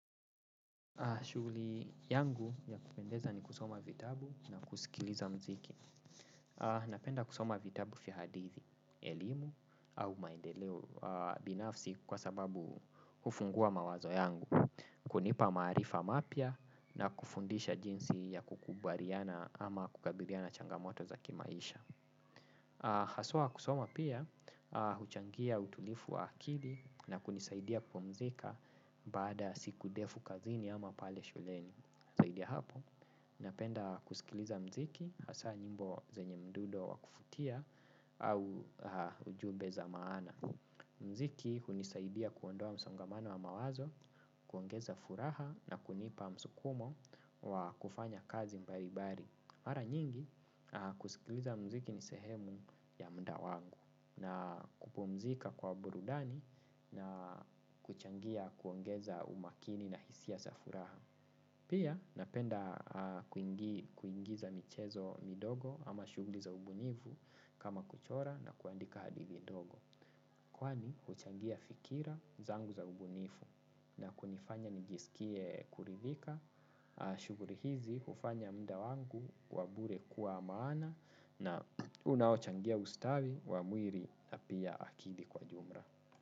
Shughuli yangu ya kupendeza ni kusoma vitabu na kusikiliza mziki. Napenda kusoma vitabu fia hadithi, elimu au maendeleo binafsi kwa sababu kufungua mawazo yangu. Kunipa marifa mapia na kufundisha jinsi ya kukubariana ama kukabiriana changamoto za kimaisha. Haswa kusoma pia, huchangia utulifu wa akili na kunisaidia kupumzika bada ya siku ndefu kazini ama pale shuleni. Saidi ya hapo, napenda kusikiliza mziki hasa nyimbo zenye mdundo wa kufutia au ujube za maana. Mziki hunisaidia kuondoa msongamano wa mawazo, kuongeza furaha na kunipa msukumo wa kufanya kazi mbaribari. Mara nyingi kusikiliza mziki ni sehemu ya mda wangu na kupumzika kwa burudani na kuchangia kuongeza umakini na hisia sa furaha. Pia napenda kuingiza michezo midogo ama shuguli za ubunifu kama kuchora na kuandika hadithi ndogo. Kwani uchangia fikira zangu za ubunifu na kunifanya nijisikie kuridhika, shuguri hizi ufanya mda wangu wa bure kuwa maana na unauchangia ustawi wa mwiri na pia akili kwa jumra.